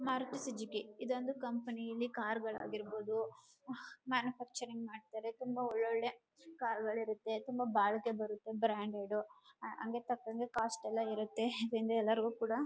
Maruti Suzuki ಇದು ಒಂದು company ಇಲ್ಲಿ ಕಾರ್ ಗಳು ಆಗಿರಬಹುದುಮ್ಯಾನುಫ್ಯಾಕ್ಚರಿಂಗ್ ಮಾಡ್ತಾರೆ ತುಂಬಾ ಒಳ್ಳೊಳ್ಳೆ ಕಾರ್ ಗಳು ಇರುತ್ತೆ ತುಂಬಾ ಬಾಳಿಕೆ ಬರುತ್ತೆ ಬ್ರಾಂಡೆಡ್ ಹಂಗೆ ತಂಗಂಗೆ ಕಾಸ್ಟ್ ಎಲ್ಲ ಇರುತ್ತೆ ಯಾಕೆಂದ್ರೆ ಎಲ್ಲರಗೂ ಕೂಡ